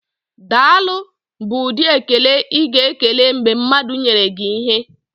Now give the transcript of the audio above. "Daalụ" bụ ụdị ekele ịga ekele mgbe mmadụ nyere gi ịhe.